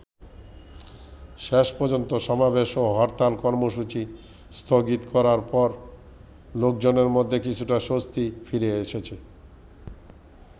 শেষ পর্যন্ত সমাবেশ ও হরতাল কর্মসূচি স্থগিত করার পর লোকজনের মধ্যে কিছুটা স্বস্তি ফিরে এসেছে।